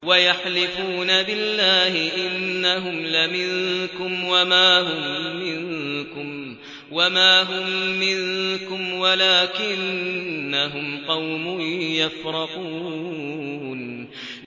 وَيَحْلِفُونَ بِاللَّهِ إِنَّهُمْ لَمِنكُمْ وَمَا هُم مِّنكُمْ وَلَٰكِنَّهُمْ قَوْمٌ يَفْرَقُونَ